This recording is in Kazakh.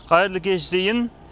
қайырлы кеш зейін